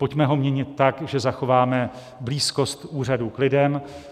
Pojďme ho měnit tak, že zachováme blízkost úřadů k lidem.